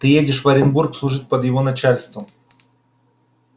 ты едешь в оренбург служить под его начальством